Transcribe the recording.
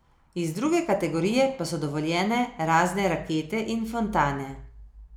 Iz druge kategorije pa so dovoljene razne rakete in fontane.